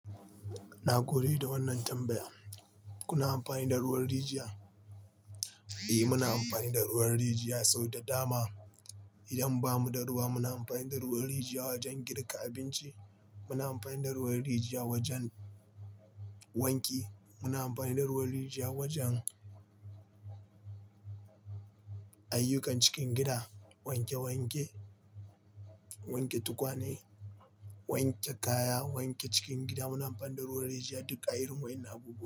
Na gode da wannan tambaya. Kuna amfani da ruwan rijiya? Eh, muna amfani da ruwan rijiya sau da dama. Idan ba mu da ruwa, muna amfani da ruwan rijiya wajen girka abinci. Muna amfani da ruwan rijiya wajen wanki. Muna amfani da ruwan rijiya wajen ayyukan cikin gida, wanke wanke, wanke tukwane, wanke kaya, wanke cikin gida. Muna amfani da ruwan rijiya duk a irin wa innan abubuwan.